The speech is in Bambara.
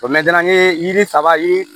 O ye yiri saba yiri